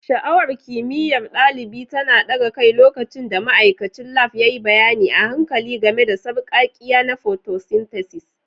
Sha'awar kimiyyar ɗalibi tana ɗaga kai lokacin da ma'aikacin Lab ya yi bayani a hankali game da sarƙaƙƙiya na photosynthesis.